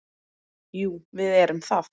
Jú, við erum það.